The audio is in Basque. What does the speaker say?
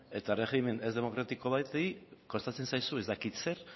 eta erregimen ez demokratiko bati kostatzen zaizu ez dakit zer